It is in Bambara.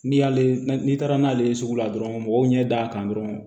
N'i y'ale n'i taara n'ale ye sugu la dɔrɔn mɔgɔw ɲɛ da' kan dɔrɔn